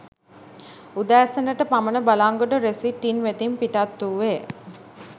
උදැසන ට පමණ බලංගොඩ රෙසිට් ඉන් වෙතින් පිටත් වුයේ